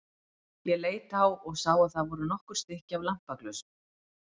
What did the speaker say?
Ég leit á og sá að það voru nokkur stykki af lampaglösum.